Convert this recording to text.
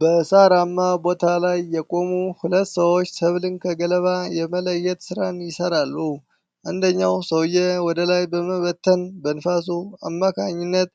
በሳራማ ቦታ ላይ የቆሙ ሁለት ሰዎች ሰብልን ከገለባው የመለየት ስራን ይሰራሉ። አንደኛው ሰው ወደላይ በመበተን በንፋሱ አማካኝነት